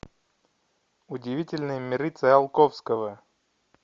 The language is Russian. удивительные миры циолковского